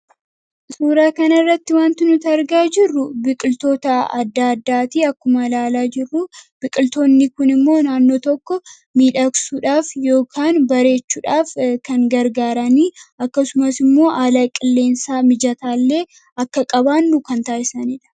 suuraa kan irratti wanti nuta argaa jirru biqiltoota adda addaatii akkuma laalaa jirru biqiltoonni kun immoo naannoo tokko miidhaksuudhaaf yookaan bareechuudhaaf kan gargaaranii akkasumas immoo aalaa qilleensaa mijataa illee akka qabaannu kan taa'isaniidha